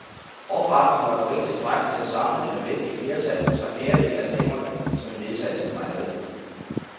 Opbakningen var dog ikke tilskrækkelig til at samle det nødvendige flertal på trefjerdedele af stemmerne, som en vedtagelse krævede.